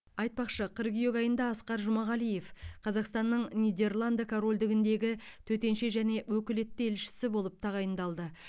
айтпақшы қыркүйек айында асқар жұмағалиев қазақстанның нидерланд корольдігіндегі төтенше және өкілетті елшісі болып тағайындалды